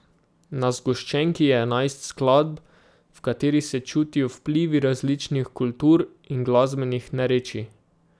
Na zgoščenki je enajst skladb, v katerih se čutijo vplivi različnih kultur in glasbenih narečij.